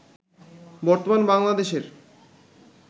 বর্তমান বাংলাদেশের